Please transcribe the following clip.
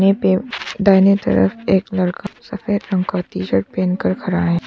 दाहिने तरफ एक लड़का सफेद रंग का टी शर्ट पहन कर खड़ा है।